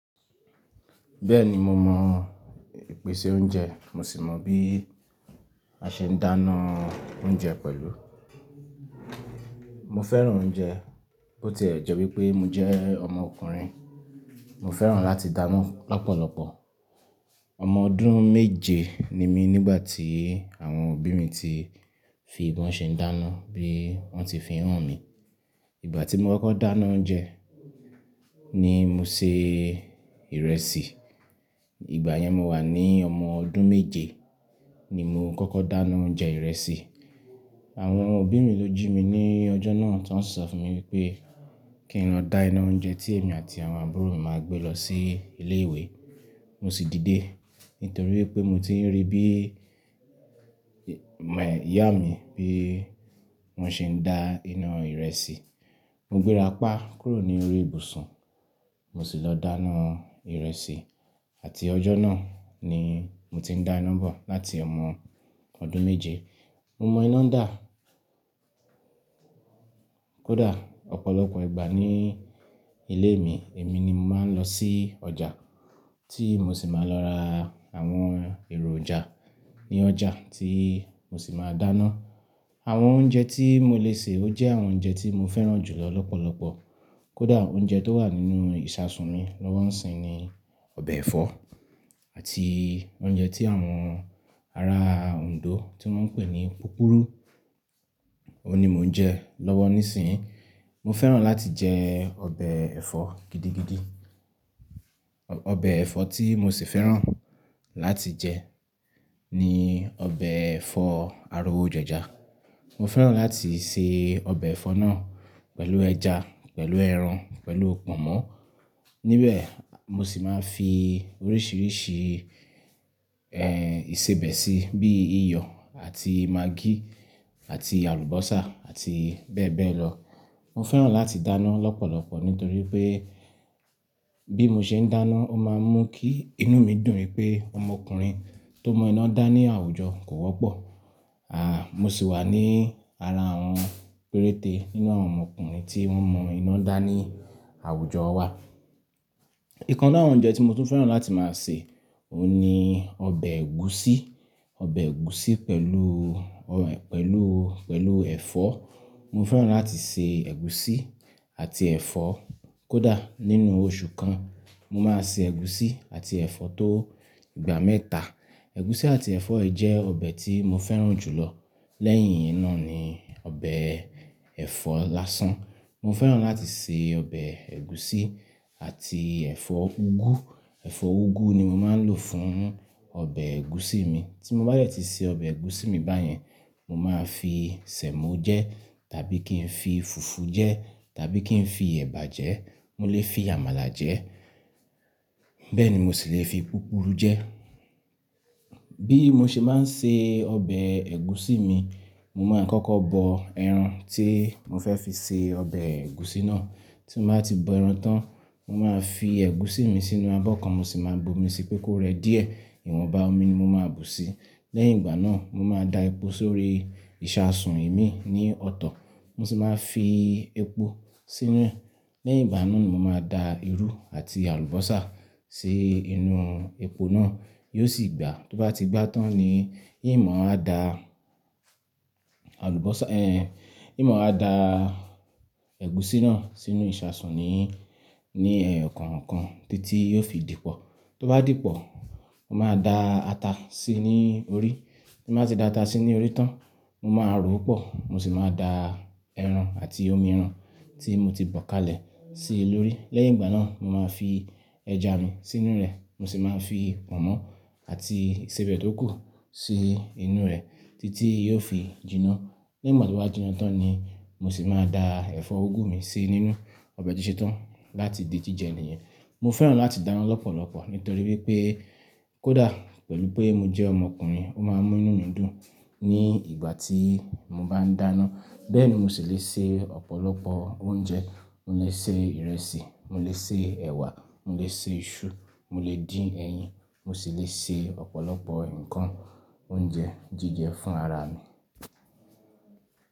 Bẹ́ẹ̀ni mo mọ ìpèsè oúnjẹ, mo sì mọ bí a ṣe ń dáná oúnjẹ pẹ̀lú. Mo fẹ́ràn oúnjẹ, ó ti ẹ̀ jẹ́ wípé mo jẹ́ ọmọ ọkùnrin. Mo fẹ́ràn láti dáná lọ́pọ̀lọpọ̀. Ọmọ ọdún méje ni mí nígbà tí àwọn òbí mi ti fi bọn ṣe ń dáná bí wón ti fi hàn mí. Ìgbà tí mo kọ́kọ́ dáná oúnjẹ ni mo se ìrẹsì. Ìgbà yẹn mo wà ní ọmọ ọdún méje ni mo kọ́kọ́ dáná oúnjẹ ìrẹsì. Àwọn òbí mi ló jí mi ní ọjọ́ náà ti won si sọ fún mi wípé kí n lọ dá iná oúnjẹ tí èmi àti àwọn àbúrò mi máa gbé lọ sí ilé ìwé. Mo sì dìde nítorí wípé mo ti ń rí bí ìmọ̀ ìyá mi bí wón ṣe ń dá iná ìrẹsì. Mo gbéra pá kúrò ní orí ibùsùn, mo sì lọ dáná ìrẹsì àti ọjọ́ náà ni mo ti ń dá iná bọ̀ láti ọmọ ọdún méje. Mo mọ iná dà. Kódà ọ̀pọ̀lọpọ̀ ìgbà ní ilé mi, èmi ni mo máa ń lọ sí ọjà tí mo sì máa lọ ra àwọn ẹ̀rojà ní ọjà tí mo sì máa dáná. Àwọn oúnjẹ tí mo lè sè ó jẹ́ àwọn oúnjẹ tí mo fẹ́ràn jù lọ lọ́pọ̀lọpọ̀. Kódà oúnjẹ tó wà nínú ìṣasùn mi lọ́wọ́ ńsìn ni ọbẹ̀ ẹ̀fọ́ àti oúnjẹ tí àwọn ará Ondo tí wón ń pè ní púpurú, òun ni mo ń jẹ lọ́wọ́ nísìnyí. Mo fẹ́ràn láti jẹ ọbẹ̀ ẹ̀fọ́ gidi gidi. Ọbẹ̀ ẹ̀fọ́ tí mo sì fẹ́ràn láti jẹ ni ọbẹ̀ ẹ̀fọ́ arówo jeja mo fẹ́ràn láti se ọbẹ̀ ẹ̀fọ́ náà pẹ̀lú ẹja, pẹ̀lú ẹran, pẹ̀lú pọ̀nmọ́. Níbẹ̀ mo sì máa ń fi oríṣiríṣi, ẹ́ ìsebẹ̀ síi bí iyọ̀ àti magí àti àlùbọ́sà àti bẹ́ẹ̀ bẹ́ẹ̀ lọ. Mo fẹ́ràn láti dáná lọ́pọ̀lọpọ̀ nítorí pé bí mo ṣe ń dáná ó máa ń mú kí inú mi dùn wípé ọmọ ọkùnrin tó mọ iná dá ní àwùjọ kò wọ́pọ̀. À, mo sì wà ní ara àwọn péréte nínú àwọn ọmọ ọkùnrin tí wọ́n mọ iná dá ní àwùjọ wà. Ìkan nínú àwọn ọ̀únjẹ tí mo tún fẹ́ràn láti máa sè, òun ni ọbẹ̀ ẹ̀gúsí. Ọbẹ̀ ẹ̀gúsí pẹ̀lú, pẹ̀lú, pẹ̀lú ẹ̀fọ́. Mo fẹ́ràn láti se ẹ̀gúsí àti ẹ̀fọ́. Kódà nínú oṣù kan, mo máa se ẹ̀gúsí àti ẹ̀fọ́ tó ìgbà mẹ́ta. Ẹ̀gúsí àti ẹ̀fọ́ yi jẹ́ ọbẹ̀ tí mo fẹ́ràn jù lọ. Lẹ́yìn iyen náà ni ọbẹ̀ ẹ̀fọ́ lásán. Mo fẹ́ràn láti se ọbẹ̀ ẹ̀gúsí àti ẹ̀fọ́ úgú. Ẹ̀fọ́ úgú ni mo máa ń lò fún ọbẹ̀ ẹ̀gúsí mi. Tí mo bá de ti se ọbẹ̀ ẹ̀gúsí mi báyẹn, mo máa fi sẹ̀mọ́ jẹ́ tàbí kí n fi fùfú jẹ́ tàbí kí n fi ẹ̀bà jẹẹ́. Mo lè fi àmàlà jẹ. Bẹ́ẹ̀ ni mo sì lè fi púpurú jẹ. Bí mo ṣe máa ń se ọbẹ̀ ẹ̀gúsí mi, mo máa ń kọ́kọ́ bọ ẹran tí mo fẹ́ fi se ọbẹ̀ ẹ̀gúsí náà. Tí mo bá ti bọ ẹran tán, mo máa fi ẹ̀gúsí mi sínú abọ́ kan mo sì máa bu omi síi pé kó rẹ díẹ̀. Ìwọ̀n ba omi ni mo máa bu sí. Lẹ́yìn ìgbà náà mo máa da epo sórí ìṣasùn imi ní ọ̀tọ̀, mo sì máa fi epo sínú e lẹ́yìn ìgbà náà ni mo máa da irú àti àlùbọ́sà sí inú epo náà, yóò sì gbà. Tó bá ti gbà tán ni in mò wa da àlùbọ́sà, in mò wa da ẹ̀gúsí náà sínú ìṣasùn ní, ní ẹ́yokoọ̀kàn títí yóò fi dípọ̀. Tó bá dípọ̀, mo máa da ata síi ní orí. Tí mo bá ti da ata síi ní orí tán, mo máa rọ́ pò, mo sì máa da ẹran àti omi ẹran tí mo ti bọ̀ kalẹ̀ sí i lórí. Lẹ́yìn ìgbà náà mo máa fi ẹja mi sínú rẹ̀, mo sì máa fi pọ̀nmọ́ àti ìsebẹ̀ tó kù sí inú rẹ̀ títí yóò fi jiná. Lẹ́yìn mò tí ó bá jiná tán ni mo sì máa da ẹ̀fọ́ úgú mi sí nínú ọbẹ̀ tí ṣe tán láti di jíjẹ ènìyàn. Mo fẹ́ràn láti dáná lọ́pọ̀lọpọ̀ nítorí wípé kó dà pẹ̀lú pé mo jẹ́ ọmọ ọkùnrin ó máa ń mú inú mi dùn ní ìgbà tí mo bá ń dáná. Bẹ́ẹ̀ni mo sì lè se ọ̀pọ̀lọpọ̀ oúnjẹ. Mo lè se ìrẹsì, mo lè se ẹ̀wà, mo lè se iṣu, mo lè dín ẹyin, mo sì lè se ọ̀pọ̀lọpọ̀ ǹkan oúnjẹ jíjẹ fún ara mi.